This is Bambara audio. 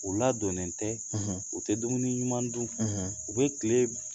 U ladonnen tɛ u tɛ dumuni ɲuman dun u bɛ kile